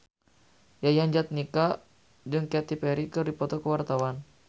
Yayan Jatnika jeung Katy Perry keur dipoto ku wartawan